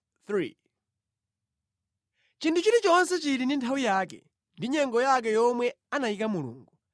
Chinthu chilichonse chili ndi nthawi yake, ndi nyengo yake yomwe anayika Mulungu: